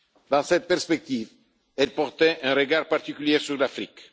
Dans cette perspective, elle portait un regard particulier sur l'Afrique.